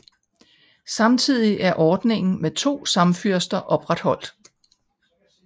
Samtidig er ordningen med to samfyrster opretholdt